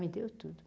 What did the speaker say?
Me deu tudo.